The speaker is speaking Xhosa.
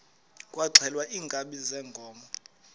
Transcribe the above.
kwaxhelwa iinkabi zeenkomo